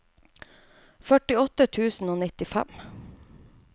førtiåtte tusen og nittifem